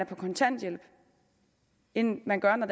på kontanthjælp end man gør når